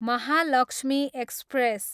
Mahalakshmi express